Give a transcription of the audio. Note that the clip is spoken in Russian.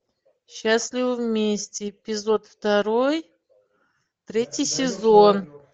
счастливы вместе эпизод второй третий сезон